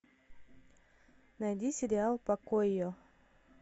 найди сериал покои